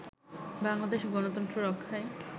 বাংলাদেশ গনতন্ত্র রক্ষায়